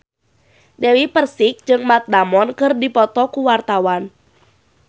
Dewi Persik jeung Matt Damon keur dipoto ku wartawan